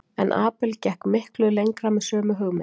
En Abel gekk miklu lengra með sömu hugmynd.